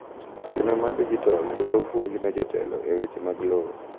chenro mar dijital dwaro puonj ne jotelo e weche mag lowo